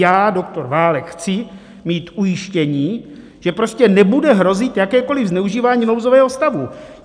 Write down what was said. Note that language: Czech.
Já, doktor Válek, chci mít ujištění, že prostě nebude hrozit jakékoliv zneužívání nouzového stavu.